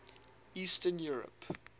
eastern europe